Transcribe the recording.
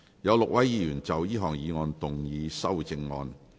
有6位議員要就這項議案動議修正案。